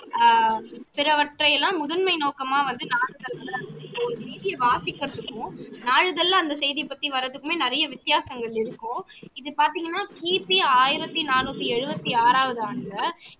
அஹ் சிலவற்றை எல்லாம் முதன்மை நோக்கமா வந்து ஒரு செய்தியை வாசிக்க சொல்லுவோம் நாளிதழில அந்த செய்தியை பத்தி வர்றதுக்குமே நிறைய வித்தியாசங்கள் இருக்கும் இது பாத்தீங்கன்னா கிபி ஆயிரத்தி நாணூத்தி எழுவத்தி ஆறாவது அண்டுல